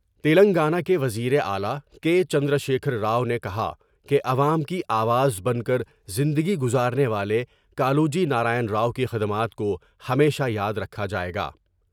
تلنگانہ کے وزیراعلی کے چندر شیکھر راؤ نے کہا کہ عوام کی آواز بن کر زندگی گذارنے والے کالوجی نارائن راؤ کی خدمات کو ہمیشہ یا درکھا جائے گا ۔